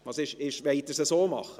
Wollen Sie es so machen?